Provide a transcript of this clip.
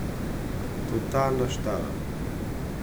Totalna štala.